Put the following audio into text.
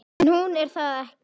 En hún er það ekki.